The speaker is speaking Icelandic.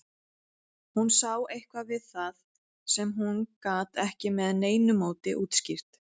Hún sá eitthvað við það sem hún gat ekki með neinu móti útskýrt.